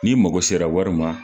Ni mɔgɔ sera wari ma